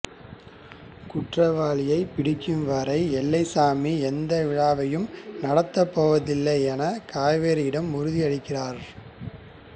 குற்றவாளியை பிடிக்கும் வரை எல்லைச்சாமி எந்த விழாவையும் நடத்தப் போவதில்லையென காவேரியிடம் உறுதியளிக்கிறார்